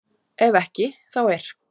Ef ekki þá er